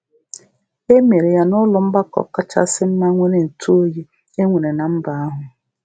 E E mere um ya n’ụlọ mgbakọ kachasị mma nwere ntụoyi um e nwere na mba ahụ.